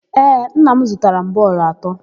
Ee, nna m zụtara m bọọlụ atọ.